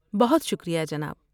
بہت شکریہ جناب۔